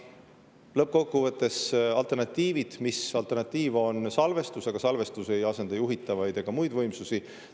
Kokkuvõttes, alternatiiv on salvestus, aga salvestus ei asenda juhitavaid ega muid võimsusi.